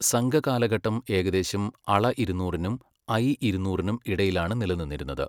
സംഘകാലഘട്ടം ഏകദേശം അള ഇരുന്നൂറിനും ഐ ഇരുന്നൂറിനും ഇടയിലാണ് നിലനിന്നിരുന്നത്.